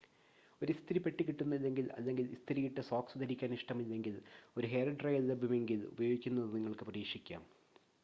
ഒരു ഇസ്തിരിപ്പെട്ടി കിട്ടുന്നില്ലെങ്കിൽ അല്ലെങ്കിൽ ഇസ്തിരിയിട്ട സോക്സ് ധരിക്കാൻ ഇഷ്ടമില്ലെങ്കിൽ ഒരു ഹെയർ ഡ്രയർ ലഭ്യമെങ്കിൽ ഉപയോഗിക്കുന്നത് നിങ്ങൾക്ക് പരീക്ഷിക്കാം